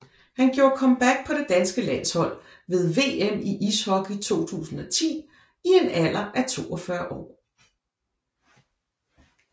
Han gjorde comeback på det danske landshold ved VM i ishockey 2010 i en alder af 42 år